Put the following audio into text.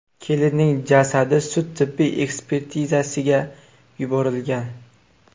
Kelinning jasadi sud-tibbiy ekspertizasiga yuborilgan.